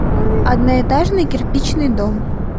одноэтажный кирпичный дом